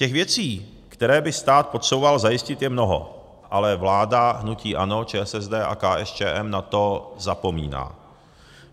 Těch věcí, které by stát potřeboval zajistit, je mnoho, ale vláda hnutí ANO, ČSSD a KSČM na to zapomíná.